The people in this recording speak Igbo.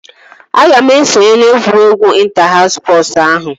Aga m esonye na egwuregwu ịnta haus spọsu ahụ